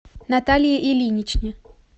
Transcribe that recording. наталье ильиничне